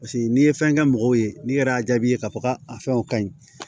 Paseke n'i ye fɛn kɛ mɔgɔw ye n'i yɛrɛ y'a jaabi k'a fɔ k'a fɛnw ka ɲi